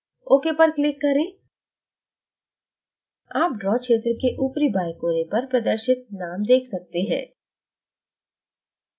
ok पर click करें आप draw क्षेत्र के ऊपरी बाएं कोने पर प्रदर्शित name देख सकते हैं